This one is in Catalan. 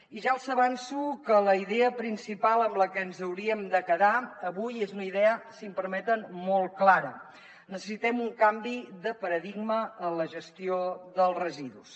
i ja els avanço que la idea principal amb la que ens hauríem de quedar avui és una idea si em permeten molt clara necessitem un canvi de paradigma en la gestió dels residus